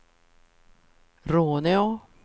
Råneå